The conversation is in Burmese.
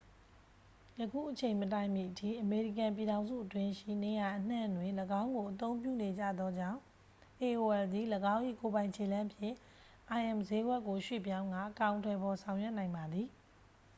ယခုအချိန်မတိုင်မီအထိ အမေရိကန်ပြည်ထောင်စုအတွင်းရှိ နေရာအနှံ့တွင် ၎င်းကိုအသုံးပြုနေကြသောကြောင့် aol သည် ၎င်း၏ကိုယ်ပိုင်ခြေလှမ်းဖြင့် im စျေးကွက်ကို ရွှေ့ပြောင်းကာ အကောင်အထည်ဖော်ဆောင်ရွက်နိုင်ပါသည်